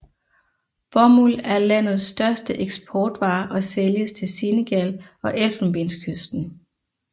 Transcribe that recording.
Bomuld er landets største eksportvare og sælges til Senegal og Elfenbenskysten